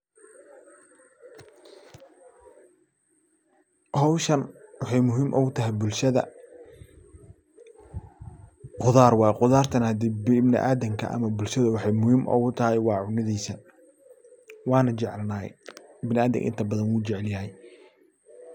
Hawshan waxay muhiim ogu tahay bulshada qudar waye qudartana hade ibniadamka ama bulshada waxay muhiim ogu tahay waa cunadiisa waana jecelnahay biniadamka inta badan wuu jecelyhay.